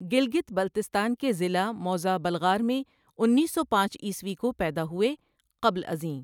گلگت بلتستان کے ضلع موضع بلغار میں انیس سو پانچ عیسوی کو پیدا ہوئے قبل ازیں، ۔